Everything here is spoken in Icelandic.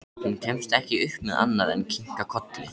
Hún kemst ekki upp með annað en kinka kolli.